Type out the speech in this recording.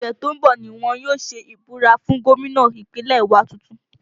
Ọ̀sẹ̀ tó ń bọ̀ ni wọ́n yóò ṣe ìbúra fún gómìnà Ìpínlẹ̀ wa tuntun